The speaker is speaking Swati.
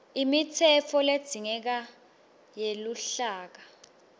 imitsetfo ledzingekako yeluhlaka